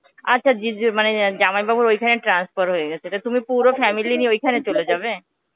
আচ্ছা জিজ~ মানে জামাইবাবুর ঐখানে transfer হয়ে গেছে. তা তুমি পুরো family নিয়ে ঐখানে চলে যাবে?